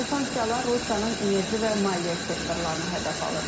Bu sanksiyalar Rusiyanın enerji və maliyyə sektorlarını hədəf alır.